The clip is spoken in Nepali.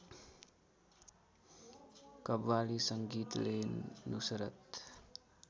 कव्वाली संगीतले नुसरत